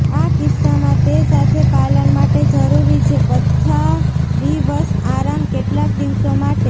આ કિસ્સામાં તે સાથે પાલન માટે જરૂરી છે પથારીવશ આરામ કેટલાક દિવસો માટે